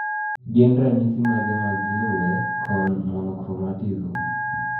Gin ranyisi mage mag lue cone monochromatism?